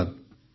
ଧନ୍ୟବାଦ